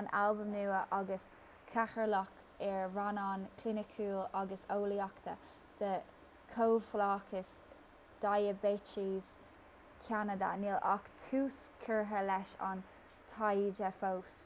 an albain nua agus cathaoirleach ar rannán cliniciúil agus eolaíochta de chomhlachas diaibéitis cheanada níl ach tús curtha leis an taighde fós